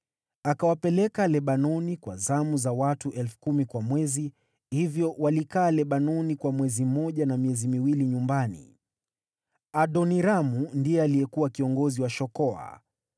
Akawapeleka Lebanoni kwa zamu za watu 10,000 kwa mwezi, hivyo walikaa Lebanoni kwa mwezi mmoja na miezi miwili nyumbani. Adoniramu ndiye alikuwa kiongozi wa shokoa.